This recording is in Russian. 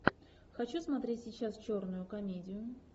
хочу смотреть сейчас черную комедию